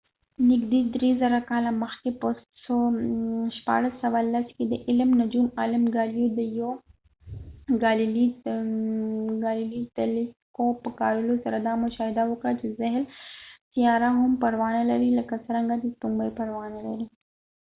نږدې درې زره کاله مخکې په 1610 کې د علم نجوم عالم ګالیلو ګالیلیgalileo galilei; د یو تیلیسکوپ په کارولو سره دا مشاهده وکړه چې زحل سیاره هم پړاونه لري لکه څرنګه چې سپوږمی پړاونه لري